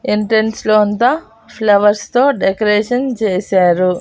Entrance లో అంతా flowers తో డెకరేషన్ చేశారు.